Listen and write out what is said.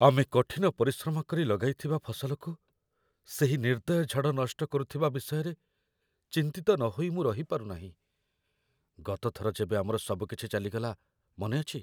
ଆମେ କଠିନ ପରିଶ୍ରମ କରି ଲଗାଇଥିବା ଫସଲକୁ ସେହି ନିର୍ଦ୍ଦୟ ଝଡ଼ ନଷ୍ଟ କରୁଥିବା ବିଷୟରେ ଚିନ୍ତିତ ନହୋଇ ମୁଁ ରହିପାରୁନାହିଁ। ଗତ ଥର ଯେବେ ଆମର ସବୁକିଛି ଚାଲିଗଲା, ମନେ ଅଛି ?